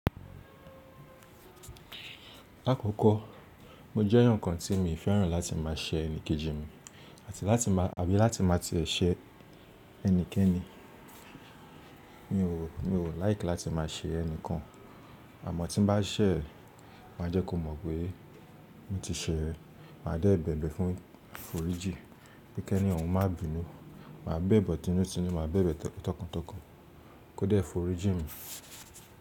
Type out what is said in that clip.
Lákókó, mo jẹ́ èèyàn nǹkan tí mi ò fẹ́ràn láti máa ṣẹ̀ ẹnikẹ́ji mi àti láti máa, àbí láti máa ti èṣe ẹnikẹ́ni. Mi ò, mi ò láìkí láti máa ṣẹ̀ ẹnikán. Àmọ́ tí n bá ṣẹ̀, màá jẹ́ kó mọ̀ pé mo ti ṣẹ̀, màá dẹ̀ bẹ̀bẹ̀ fún fòríjì pé kẹ́ni ọun má bínu, màá bẹ̀bẹ̀ tinútinú, màá bẹ̀bẹ̀ tọkàntọkàn kó dẹ́ fòríjì mi.